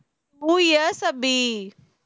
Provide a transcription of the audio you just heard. two years Abhi